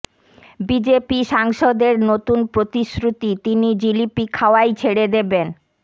BJP সাংসদের নতুন প্রতিশ্রুতি তিনি জিলিপি খাওয়াই ছেড়ে দেবেন